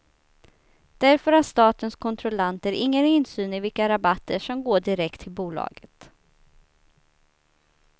Därför har statens kontrollanter ingen insyn i vilka rabatter som går direkt till bolaget.